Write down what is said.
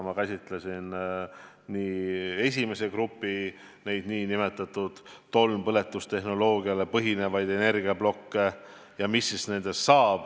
Ma käsitlesin ka esimese grupi ehk tolmpõletustehnoloogial põhinevaid energiaplokke, seda, mis nendest saab.